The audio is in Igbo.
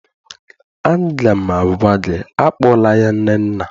Aga m agwa gị, akpọla ya Nnenna!